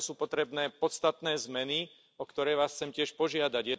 Preto sú potrebné podstatné zmeny, o ktoré Vás chcem tiež požiadať.